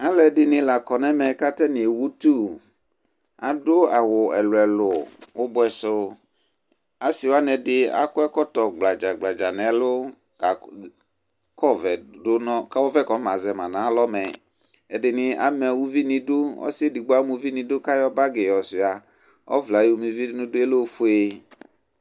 Alʋ ɛdɩnɩ la kɔ nʋ ɛmɛ kʋ atanɩ ewutʋ Adʋ awʋ ɛlʋ-ɛlʋ ʋbʋɛ sʋ Asɩ wanɩ ɛdɩ akɔ ɛkɔtɔ gbladza-gbladza nʋ ɛlʋ kʋ ɔvɛ kɔfamazɛ ma nʋ alɔ mɛ Ɛdɩnɩ ama uvi nʋ idu, ɔsɩ edigbo ama uvi nʋ idu kʋ ayɔ bagɩ yɔsʋɩa, ɔvlɛ yɛ kʋ ayɔma uvi nʋ idu yɛ bɩ lɛ ofue